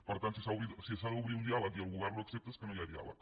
per tant si s’ha d’obrir un diàleg i el govern no ho accepta és que no hi ha diàleg